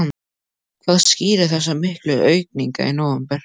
Hvað skýrir þessa miklu aukningu í nóvember?